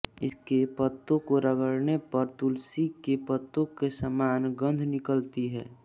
इसके पत्तों को रगड़ने पर तुलसी के पत्तों के समान गंध निकलती है